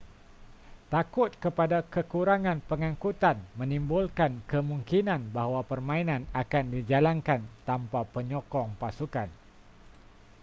takut kepada kekurangan pengangkutan menimbulkan kemungkinan bahawa permainan akan dijalankan tanpa penyokong pasukan